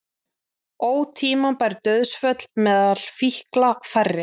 Ótímabær dauðsföll meðal fíkla færri